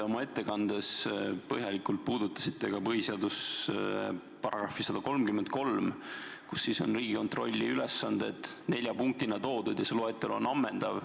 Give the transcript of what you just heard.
Te oma ettekandes põhjalikult puudutasite põhiseaduse § 133, kus on Riigikontrolli ülesanded nelja punktina toodud ja see loetelu on ammendav.